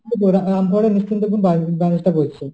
করেছে